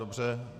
Dobře.